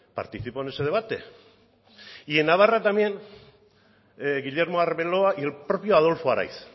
participó en ese debate y en navarra también guillermo arbeloa y el propio adolfo araiz